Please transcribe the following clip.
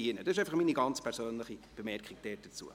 Dies ist meine ganz persönliche Bemerkung dazu.